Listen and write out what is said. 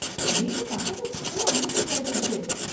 வீட்டுப் பக்கத்து ஸ்கூல்லேயே அட்மிஷன் கிடைச்சிடுச்சி.